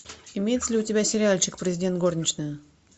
имеется ли у тебя сериальчик президент горничная